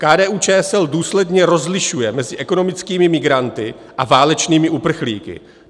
KDU-ČSL důsledně rozlišuje mezi ekonomickými migranty a válečnými uprchlíky.